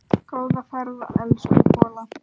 Góða ferð, elsku Kolla.